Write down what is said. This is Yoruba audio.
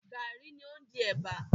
Garri ni ó ń di ẹ̀bà.